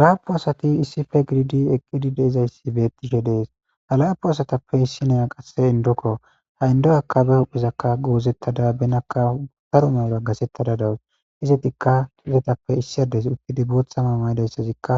laapu asati issife gididi eqqidi de izayssi beettiishe dees ha laapu asatappe issinaya qasse indokko ha indo akka be huphizakka goozettada benakka utaru mewura gasettada dawus izetikka izetappe issiades uttidi boothama mayidayssazikka